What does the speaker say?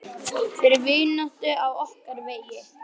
Fyrir vináttu á okkar vegi.